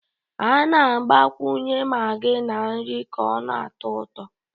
A na-agbakwunye Maggi na nri ka ọ na-atọ ụtọ